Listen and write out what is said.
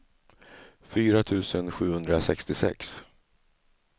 fyra tusen sjuhundrasextiosex